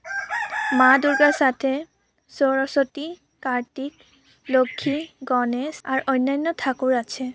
মা দুর্গার সাথে সোরস্বতীকার্তিক লক্ষ্মী গণেশ আর অন্যান্য ঠাকুর আছে।